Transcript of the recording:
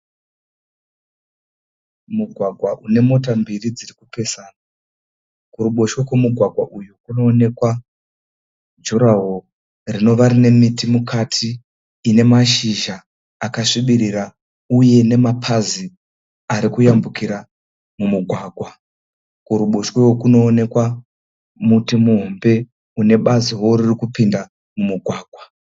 Mugwagwa une mota mbiri dzirikupesana. Kurubotshwe kwemugwagwa uyu kunoonekwa jurahoro rinova rinemiti mukati ine mashizha akasvibirira uye nemapazi arikutambukira mumugwagwa . Kuruboshwe kurikonekwa muti muhombe une baziwo ririkupinda mumugwagwa.